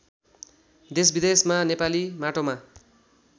देशविदेशमा नेपाली माटोमा